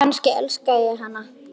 Kannski elska ég hana?